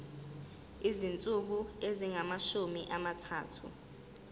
izinsuku ezingamashumi amathathu